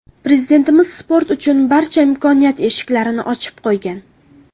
Prezidentimiz sport uchun barcha imkoniyat eshiklarini ochib qo‘ygan.